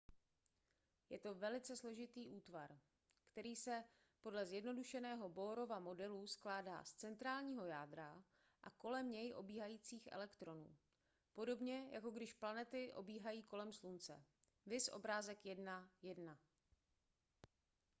je to velice složitý útvar který se podle zjednodušeného bohrova modelu skládá z centrálního jádra a kolem něj obíhajících elektronů podobně jako když planety obíhají kolem slunce –⁠ viz obrázek 1.1